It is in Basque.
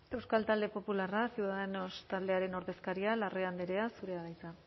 euskal talde popularra ciudadanos taldearen ordezkaria larrea andrea zurea da hitza